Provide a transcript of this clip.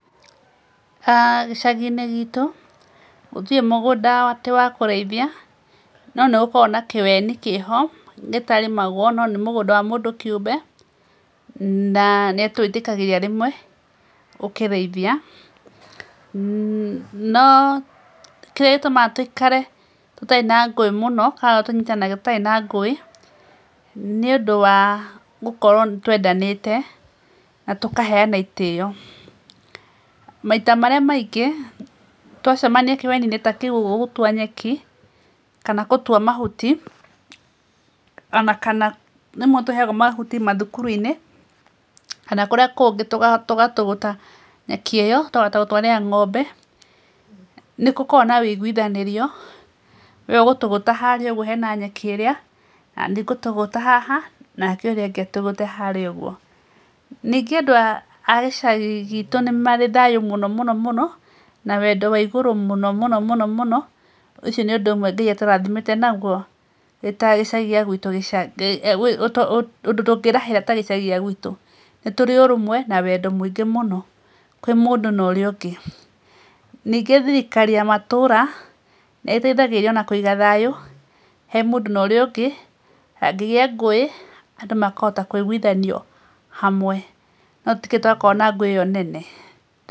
Gĩcagi-inĩ giitũ, gũtirĩ mũgũnda atĩ wa kũrĩithia no nĩ gũkorawo na kĩweni kĩho gĩtarĩmago, no nĩ mũgũnda wa mũndũ kĩũmbe, na nĩ atũĩtĩkagĩria rĩmwe ũkĩrĩithia. No kĩrĩa gĩtũmaga tũikare tũtarĩ na ngũĩ mũno, kana tũnyitanagĩra tũtarĩ na ngũĩ, nĩũndũ wa gũkorwo nĩ twendanite na tũkaheana itĩo. Maita marĩa maingĩ twacemania kĩweni-inĩ ta kĩu ũguo gũtua nyeki, kana gũtua mahuti, o na kana rĩmwe tũheagwo mahuti mathukuru-inĩ, kana kũrĩa kũngĩ tũgatũgũta nyeki ĩyo tũkahota gũtwarĩra ng'ombe, nĩ gũkoragwo na wũiguithanĩrio, "we ũgũtũgũta harĩa ũguo hena nyeki ĩrĩa na niĩ ngũtũgũta haha, nake ũrĩa ũngĩ egũtũgũta harĩa ũguo." Ningĩ andũ a gĩcagi giitũ nĩ marĩ thayũ mũno mũno mũno na wendo wa igurũ mũno mũno mũno mũno, ũcio nĩũndũ ũmwe Ngai atũrathimĩte naguo wĩ ta gĩcagi a gwitũ ũndũ tũngĩĩrahĩra ta gĩcagi a gwitũ. Nĩ tũrĩ ũrũmwe na wendo mũingĩ mũno kwĩ mũndũ na ũrĩa ũngĩ. Ningĩ thirikari ya matũra, nĩ ĩteithagĩrĩria o na kũiga thayũ he mũndũ na ũrĩa ũngĩ, hangĩgĩa ngũĩ, andũ makahota kũiguithanio hamwe, no tũtikĩrĩ twakorwo na ngũĩ ĩyo nene.